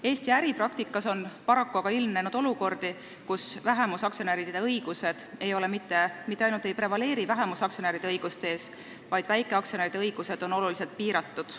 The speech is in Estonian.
Eesti äripraktikas on paraku aga ilmnenud olukordi, kus aktsionäride õigused mitte ainult ei prevaleeri vähemusaktsionäride õiguste ees, vaid väikeaktsionäride õigusi on oluliselt piiratud.